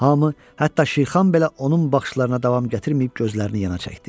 Hamı, hətta Şirxan belə onun baxışlarına davam gətirməyib gözlərini yana çəkdi.